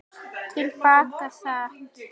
Til baka sat